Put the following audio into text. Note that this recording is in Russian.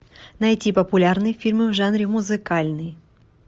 найти популярные фильмы в жанре музыкальный